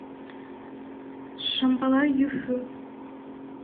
шамбала юфу